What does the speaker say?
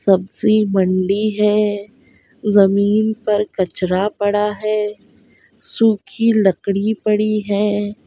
सब्जीमंडी है ज़मीन पर कचरा पड़ा है सुखी लकड़ी पड़ी है।